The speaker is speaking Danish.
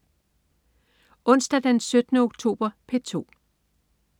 Onsdag den 17. oktober - P2: